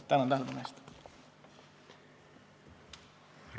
Tänan tähelepanu eest!